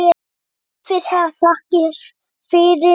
Hafi það þakkir fyrir.